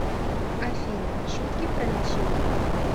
афина шутки про лечение